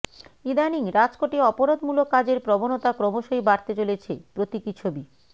ইদানিং রাজকোটে অপরাধমূলক কাজের প্রবণতা ক্রমশই বাড়তে চলেছে প্রতীকী ছবি